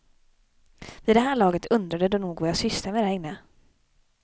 Vid det här laget undrade de nog vad jag sysslade med där inne.